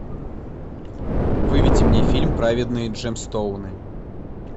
выведи мне фильм праведные джемстоуны